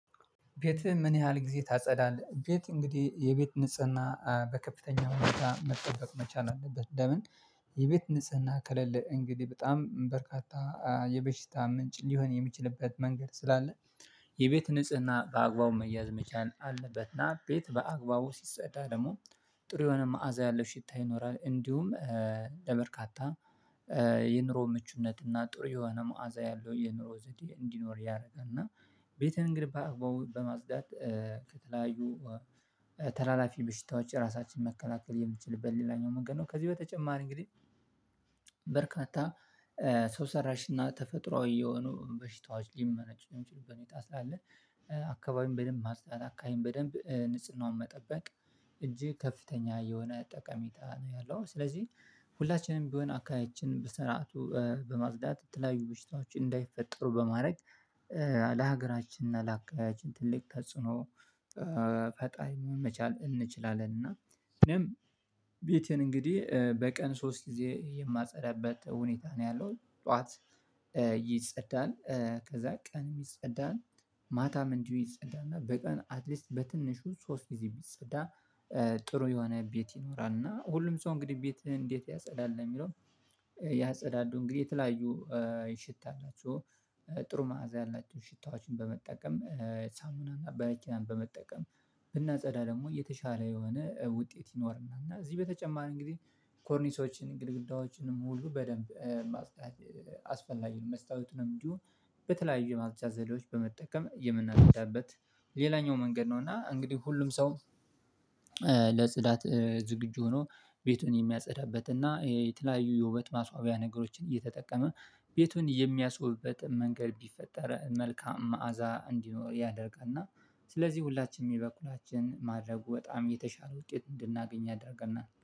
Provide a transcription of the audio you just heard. ቤት ምን ያህል ጊዜ ታጸዳለህ? ቤት እንግዲህ የቤት ንጽህና በከፍተኛ ሁኔታ መጠበቅ መቻል አለበት ለምን? የቤት ንጽህና ከለለ እንግዲህ በጣም በርካታ የበሽታ ምንጭ ሊሆን የሚችልበት መንገድ ስላለ የቤት ንጽህና በአግባቡ መያዝ መቻል አለበትና ቤት በአግባቡ ሲጸዳ ደግሞ ጥሩ የሆነ መዓዛ ያለው ሽታ ይኖራል። እንዲሁም ለበርካታ የኑሮ ምቹነት እና ጥሩ የሆነ መዓዛ ያለው የኑሮ ዘዴ እንዲኖር ያደርጋል። እና ቤትን ግን በአግባቡ በማፅዳት ከተለያዩ ተላላፊ ብሽታዎች ራሳችን መከላከል የምትችልበት ሌላኛው መንገድ ነው። ከዚህ በተጨማሪ እንግዲህ በርካታ ሰው ሰራሽ እና ተፈጥሮአዊ የሆኑ በሽታዋች ሊመነጭ የሚችሉበት ሁኔታ ስላለ አካባቢም በደንብ ማጽዳት አከባቢ በደንብ ንጽህናውን መጠበቅ እጄግ ከፍተኛ የሆነ ጠቀሜታ ነው ያለው። ስለዚህ ሁላችንም ቢሆን አካባቢያችን በስርዓቱ በማፅዳት የተለያዩ ብሽታዎችን እንዳይፈጠሩ በማድረግ ለሀገራችን እና ለአካባቢያችን ትልቅ ተጽኖ ፈጣሪ መሆን መቻል እንችላለን። እና እኔም ቤቴን እንግዲህ በቀን ሶስት ጊዜ የማጸዳበት ሁኔታ ነው ያለው። ጠዋት ይጸዳል ከዛ ቀን ይጸዳል ማታም እንዲሁ ይጸዳና በቀን አትሊስት በትንሹ ሶስት ጊዜ ቢጸዳ። ጥሩ የሆነ ቤት ይኖራል እና ሁሉም ሰው እንግዲህ ቤትህ እንዴት ያጸዳል የሚለውን? ያጸዳል እንግዲህ የተለያዩ ሽታ አላቸው ጥሩ መዓዛ ያላቸውን ሽታዎችን በመጠቀም ሳሙና እና በረኪናን በመጠቀም ብናጸዳ ደግሞ የተሻለ የሆነ ውጤት ይኖርናል። እና እዚህ በተጨማር እንግዲህ ኮርኒሶችን ግድግዳዎችንም ሁሉ በደንብ ማስታወቂያ አስፈላጊ ነው መስታወት ነው እንዲሁም በተለያዩ ማጽጃ ዘዴዎች በመጠቀም የምናደርጋበት ሌላኛው መንገድ ነው። እና እንግዲህ ሁሉም ሰው ለጽዳት ዝግጁ ሆኖ ቤቱን የሚያጸዳበት እና የተለያዩ የውበት ማስዋቢያ ነገሮችን እየተጠቀመ ቤቱን የሚያስወብበት መንገድ ቢፈጠረ መልካም መዓዛ እንዲኖር ያደርጋል። እና ስለዚህ ሁላችንም በበኩላችን ማድረጉ በጣም የተሻለ ውጤት እንድናገኝ ያደርገናል